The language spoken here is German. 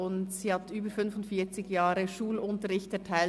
Barbara Affolter hat über 45 Jahre Schulunterricht erteilt.